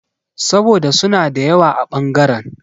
Saboda suna da yawa a ɓangaren.